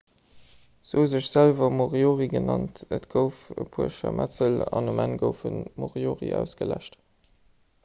se hu sech selwer moriori genannt et gouf e puer scharmëtzel an um enn goufen d'moriori ausgeläscht